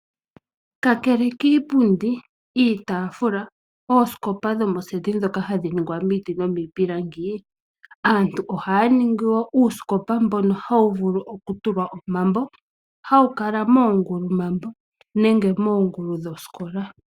Aantu ohaya vulu okuhonga uusikopa okuza miipilangi. Ohawu longithawa moongulumambo moka hawu tulwa omambo gaakwashigwana.